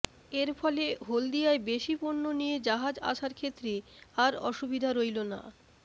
এর ফলে হলদিয়ায় বেশি পণ্য নিয়ে জাহাজ আসার ক্ষেত্রে আর অসুবিধা রইলো না